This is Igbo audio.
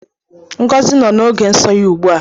Ngozi nọ n’oge nso ya ugbu a